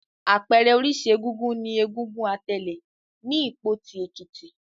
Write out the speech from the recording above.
Àpẹẹrẹ oríṣi egúngún ni egúngún Atèlè ní Ìpotì, Èkìtì.